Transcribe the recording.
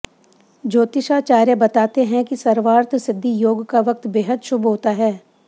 ज्योतिषाचार्य बताते हैं कि सर्वार्थ सिद्धि योग का वक्त बेहद शुभ होता है